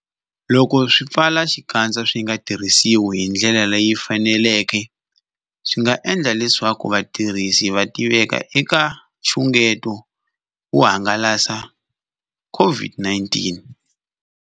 Loko swipfalaxikandza swi nga tirhisiwi hi ndlela leyi faneleke, swi nga endla leswaku vatirhisi va tiveka eka nxungeto wo hangalasa COVID-19.